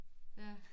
Ja